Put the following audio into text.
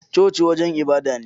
Coci wajen ibada ne